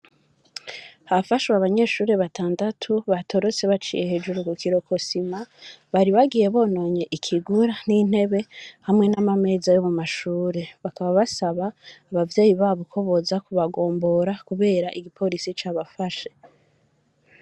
Hafashwe abanyeshure batandatu, batorotse baciye hejuru ku kirokosima, baribagiye bononye ikigura n'intebe hamwe n'imeza yo mu mashure; bakaba basaba abavyeyi ko boza kubagombora, kubera igiporisi cabafashe.